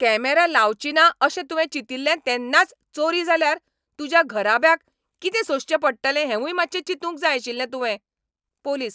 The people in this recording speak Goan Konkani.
कॅमेरा लावचीना अशें तुवें चितिल्लें तेन्नाच चोरी जाल्यार तुज्या घराब्याक कितें सोंसचें पडटलें हेंवूय मात्शें चिंतूंक जाय आशिल्लें तुवें. पुलीस